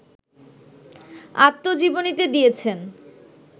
আত্মজীবনীতে দিয়েছেন